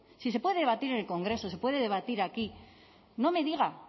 si se puede debatir en el congreso se puede debatir aquí no me diga